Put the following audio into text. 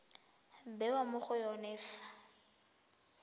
bewa mo go yone fa